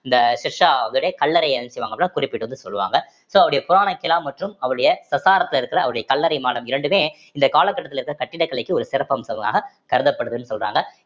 இந்தத் ஷெர்ஷாவுடைய கல்லறைய என்ன செய்வாங்க அப்படின்னா குறிப்பிட்டு வந்து சொல்லுவாங்க so அவருடைய புராணா கிலா மற்றும் அவருடைய சசாராத்தில இருக்கிற அவருடைய கல்லறை மாடம் இரண்டுமே இந்த காலகட்டத்தில இருக்க கட்டிடக்கலைக்கு ஒரு சிறப்பம்சமாக கருதப்படுதுன்னு சொல்றாங்க